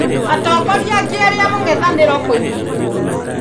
Atongoria angĩ erĩ ya mũng'ethanĩro kũnyitwo.